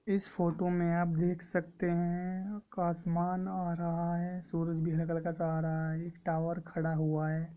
इस फोटो में आप देख सकते है एक आसमान आ रहा है सूरज गहरे कलर का सहारा है एक टावर खडा हुआ है।